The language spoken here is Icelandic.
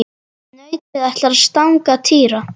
Nautið ætlaði að stanga Týra.